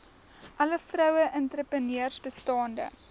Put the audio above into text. alle vroueentrepreneurs bestaande